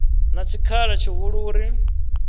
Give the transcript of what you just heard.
na tshikhala tshihulu u ri